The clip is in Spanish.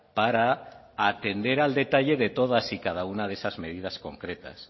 para atender al detalle de todas y cada una de esas medidas concretas